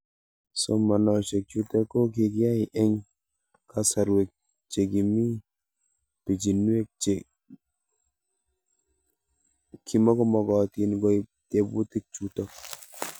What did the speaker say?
Somanoshek chutok ko kikiyai eng' kasarwek che kimii pichinwek che kimukomakatin koip tebutik chutok